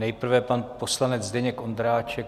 Nejprve pan poslanec Zdeněk Ondráček.